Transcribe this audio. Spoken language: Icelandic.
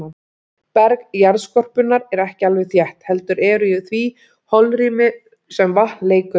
Berg jarðskorpunnar er ekki alveg þétt, heldur eru í því holrými sem vatn leikur um.